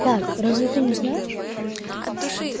как разве ты не знаешь